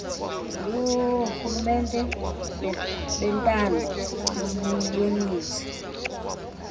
yoorhulumente bentando yoninzi